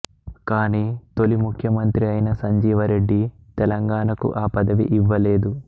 కాని తొలి ముఖ్యమంత్రి అయిన సంజీవరెడ్డి తెలంగాణకు ఆ పదవిని ఇవ్వలేదు